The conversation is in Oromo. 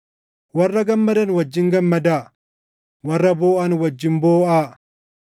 Warra gammadan wajjin gammadaa; warra booʼan wajjin booʼaa.